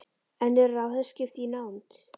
En eru ráðherraskipti í nánd?